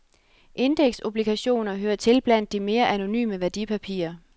Indeksobligationer hører til blandt de mere anonyme værdipapirer.